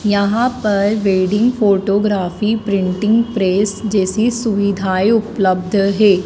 यहां पर wedding photography printing press जैसी सुविधाएं उपलब्ध है।